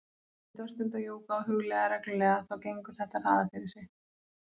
Reyndu að stunda jóga og hugleiða reglulega, þá gengur þetta hraðar fyrir sig.